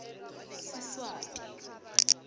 siswati